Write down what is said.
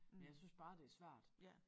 Jeg synes bare det er svært